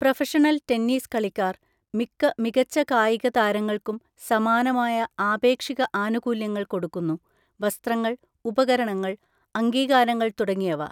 Professional tennis കളിക്കാർ മിക്ക മികച്ച കായിക താരങ്ങൾക്കും സമാനമായ ആപേക്ഷിക ആനുകൂല്യങ്ങൾ കൊടുക്കുന്നു. വസ്ത്രങ്ങൾ, ഉപകരണങ്ങൾ, അംഗീകാരങ്ങൾ തുടങ്ങിയവ.